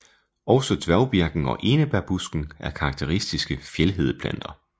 Også dværgbirken og enebærbusken er karakteristiske fjeldhedeplanter